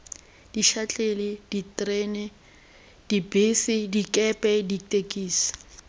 dišatlelle diterena dibese dikepe ditekisi